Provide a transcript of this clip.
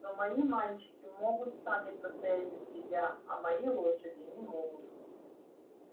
но мои мальчики могут сами постоять за себя а мои лошади не могут